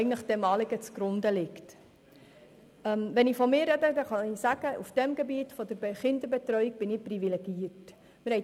Wenn ich von mir spreche, so kann ich sagen, dass ich auf dem Gebiet der Kinderbetreuung privilegiert bin.